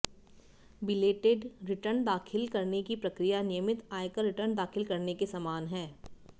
belated return दाखिल करने की प्रक्रिया नियमित आयकर रिटर्न दाखिल करने के समान है